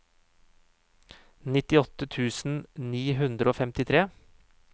nittiåtte tusen ni hundre og femtitre